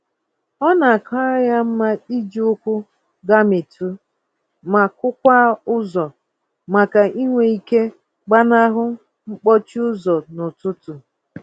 Ọ na-akara ya mma iji ụkwụ gamitụ, ma kụ-kwaa ụzọ, màkà inwe ike gbanahụ mkpọchi ụzọ n'ụtụtụ.